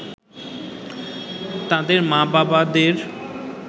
তাদের মা-বাবাদের